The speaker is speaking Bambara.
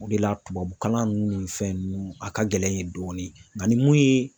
O de la tubabukalan nun ni fɛn ninnu a ka gɛlɛn yen dɔɔni nga ni mun ye